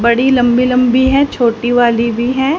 बड़ी लंबी लंबी हैं छोटी वाली भी हैं।